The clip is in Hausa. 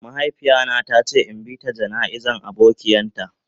Mahaifiya na ta ce in bi ta jana'iza abokian ta.